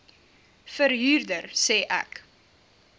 verhuurder sê ek